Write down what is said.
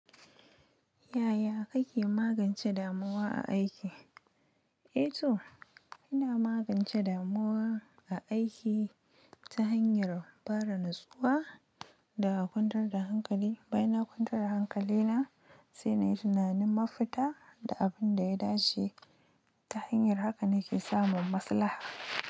Yaya kake magance damuwa a aiki? Eh to, ina magance damuwa a aiki ta hanyar fara natsuwa da kwantar da hankali. Bayan na kwantar da hankali na, sai na yi tunanin mafita da abin da ya dace. Ta hanyar haka nake samun maslaha.